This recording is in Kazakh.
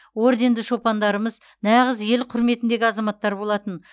орденді шопандарымыз нағыз ел құрметіндегі азаматтар болатын